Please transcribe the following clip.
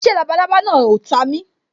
Ṣé labalábá náà o ta mi